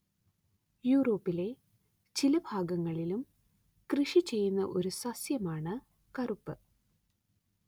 യൂറോപ്പിലെ ചില ഭാഗങ്ങളിലും കൃഷി ചെയ്യുന്ന ഒരു സസ്യമാണ്‌ കറുപ്പ്